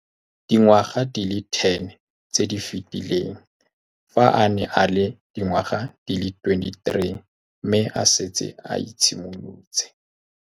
Dingwaga di le 10 tse di fetileng, fa a ne a le dingwaga di le 23 mme a setse a itshimoletse.